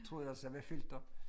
Tror også jeg bliver fyldt op